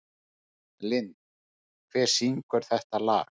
Lind, hver syngur þetta lag?